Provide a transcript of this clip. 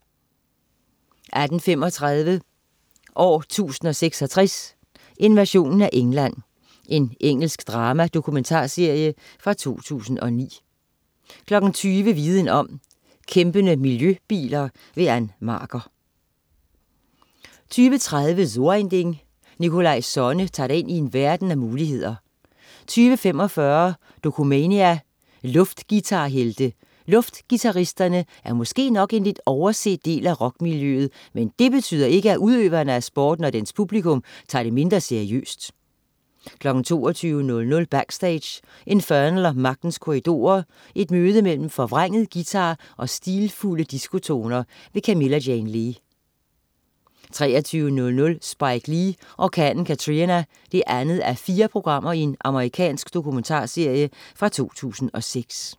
18.35 År 1066: Invasionen af England. Engelsk dramadokumentarserie fra 2009 20.00 Viden om: Kæmpende miljøbiler. Ann Marker 20.30 So ein Ding. Nikolaj Sonne tager dig ind i en verden af muligheder 20.45 Dokumania: Luftguitarhelte. Luftguitaristerne er måske nok en lidt overset del af rockmiljøet, men det betyder ikke, at udøverne af sporten og dens publikum tager det mindre seriøst 22.00 Backstage: Infernal & Magtens Korridorer. Et møde mellem forvrænget guitar og stilfulde diskotoner. Camilla Jane Lea 23.00 Spike Lee: Orkanen Katrina 2:4. Amerikansk domumentarserie fra 2006